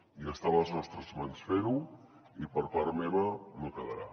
i està a les nostres mans fer ho i per part meva no quedarà